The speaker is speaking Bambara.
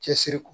Cɛsiri kɔ